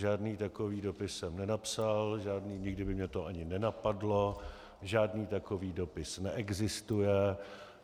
Žádný takový dopis jsem nenapsal, nikdy by mě to ani nenapadlo, žádný takový dopis neexistuje.